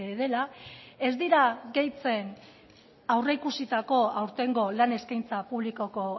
dela ez dira gehitzen aurreikusitako aurtengo lan eskaintza publikoko